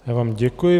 Já vám děkuji.